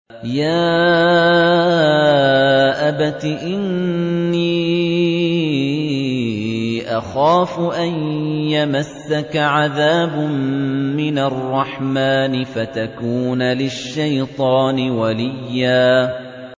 يَا أَبَتِ إِنِّي أَخَافُ أَن يَمَسَّكَ عَذَابٌ مِّنَ الرَّحْمَٰنِ فَتَكُونَ لِلشَّيْطَانِ وَلِيًّا